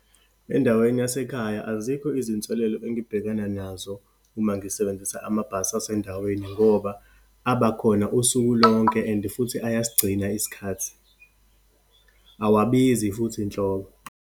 Endaweni yasekhaya, azikho izinselelo engibhekana nazo uma ngisebenzisa amabhasi asendaweni, ngoba abakhona usuku lonke and futhi ayasigcina isikhathi, awabizi futhi nhlobo.